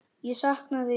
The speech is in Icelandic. Ég sakna þín.